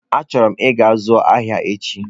Achoro m ịga ịzụ ahịa echi.